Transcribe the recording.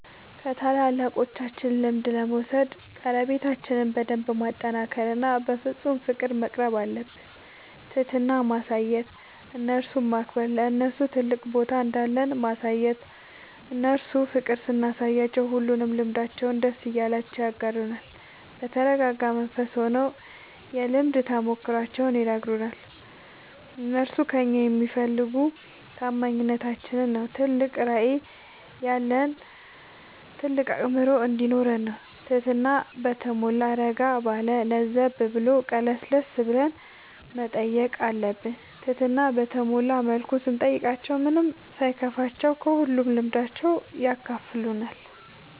ከታላላቆቻችን ልምድ ለመውሰድ ቀረቤታችን በደንብ ማጠናከር እና በፍፁም ፍቅር መቅረብአለብን። ትህትና ማሳየት እነርሱን ማክበር ለነርሱ ትልቅ ቦታ እንዳለን ማሳየት እነርሱ ፍቅር ስናሳያቸው ሁሉንም ልምዳቸውን ደስ እያላቸው ያጋሩናል። በተረጋጋ መንፈስ ሆነው የልምድ ተሞክሯቸውን ይነግሩናል። እነርሱ ከእኛ የሚፈልጉ ታማኝነታችን ነው ትልቅ ራዕይ ያለን ታልቅ አእምሮ እንዲኖረን ነው ትህትና በተሟላ እረጋ ባለ ለዘብ ብሎ ቀለስለስ ብለን መጠየቅ አለብን ትህትና በተሞላ መልኩ ስንጠይቃቸው ምንም ሳይከፋቸው ከሁሉም ልምዳቸው ያካፍሉናል።